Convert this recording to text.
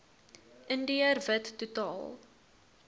indiër wit totaal